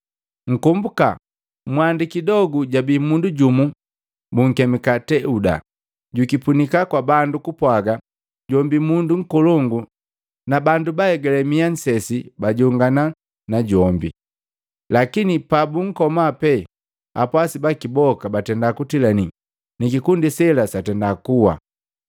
Nkomboka mwandi kidogu, jabii mundu jumu bunkemika Teuda, jukipunika kwa bandu kupwaga jombi mundu nkolongu na bandu baaegale mia nsesi bajongana na jombi. Lakini pabunkoma pee, apwasi baki boka batenda kutilani ni kikundi sela satenda kuwa.